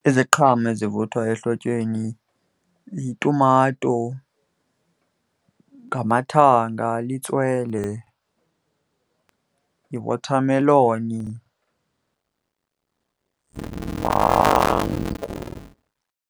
Iziqhamo ezivuthwa ehlotyeni yitumato, ngamathanga, litswele, yiwothameloni .